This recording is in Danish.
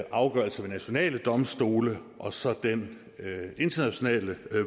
afgørelser ved nationale domstole og så den internationale